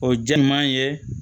O jɛ ɲuman ye